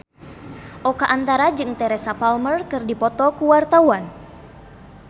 Oka Antara jeung Teresa Palmer keur dipoto ku wartawan